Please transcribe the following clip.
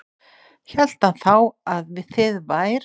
Hélt hann þá að þið vær